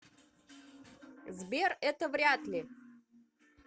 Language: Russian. сбер это вряд ли